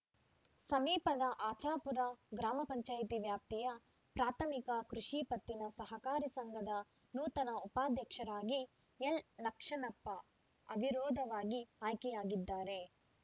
ಸಮೀಪದ ಆಚಾಪುರ ಗ್ರಾಮ ಪಂಚಾಯತಿ ವ್ಯಾಪ್ತಿಯ ಪ್ರಾಥಮಿಕ ಕೃಷಿ ಪತ್ತಿನ ಸಹಕಾರಿ ಸಂಘದ ನೂತನ ಉಪಾಧ್ಯಕ್ಷರಾಗಿ ಎಲ್‌ಲಕ್ಷಣಪ್ಪ ಅವಿರೊಧವಾಗಿ ಆಯ್ಕೆಯಾಗಿದ್ದಾರೆ